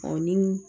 Ɔ ni